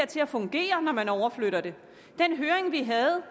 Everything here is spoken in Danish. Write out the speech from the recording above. til at fungere når man overflytter det den høring vi havde